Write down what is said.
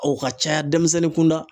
O ka caya denmisɛnnin kunda